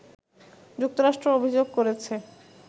যুক্তরাষ্ট্র অভিযোগ করেছে